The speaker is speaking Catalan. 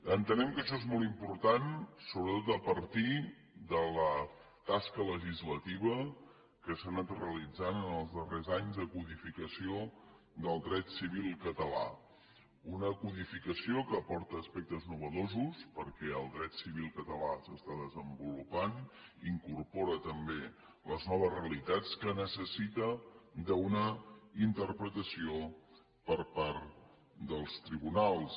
entenem que això és molt important sobretot a partir de la tasca legislativa que s’ha anat realitzant en els darrers anys de codificació del dret civil català una codificació que aporta aspectes innovadors perquè el dret civil català s’està desenvolupant i incorpora també les noves realitats que necessita una interpretació per part dels tribunals